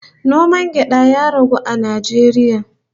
Noman gyada ya ragu a Najeriya